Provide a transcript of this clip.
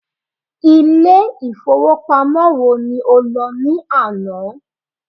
Ilé ìfowópamọ́ wo ni o lọ ní àná?